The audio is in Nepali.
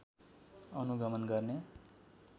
अनुगमन गर्ने